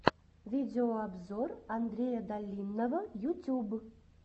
видеообзор андрея долинного ютюб